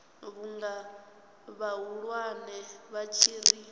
vhunga vhahulwane vha tshi ri